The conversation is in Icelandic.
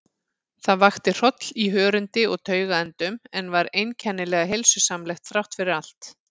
Það vakti hroll í hörundi og taugaendum, en var einkennilega heilsusamlegt þráttfyrir allt.